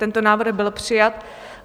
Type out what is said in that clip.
Tento návrh byl přijat.